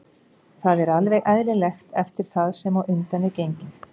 Það er alveg eðlilegt eftir það sem á undan er gengið.